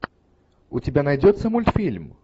у тебя найдется мультфильм